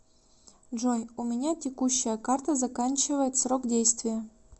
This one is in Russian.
джой у меня текущая карта заканчивает срок действия